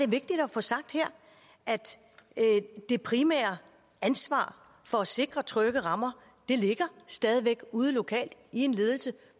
vigtigt at få sagt her at det primære ansvar for at sikre trygge rammer stadig væk ude lokalt i ledelsen